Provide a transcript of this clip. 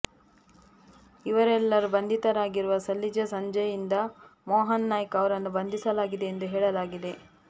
ಇವರೆಲ್ಲರೂ ಬಂಧಿತರಾಗಿರುವ ಸಲ್ಲಿಜೆ ಸಂಜಜೆಯಿಂದ ಮೋಹನ್ ನಾಯ್ಕ್ ಅವರನ್ನು ಬಂಧಿಸಲಾಗಿದೆ ಎಂದು ಹೇಳಲಾಗಿದೆ